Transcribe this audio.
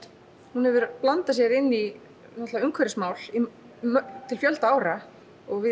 hún hefur blandað sér inn í umhverfismál til fjölda ára og við